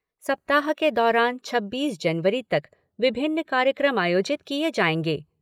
सप्ताह के दौरान छब्बीस जनवरी तक विभिन्न कार्यक्रम आयोजित किए जाएँगे।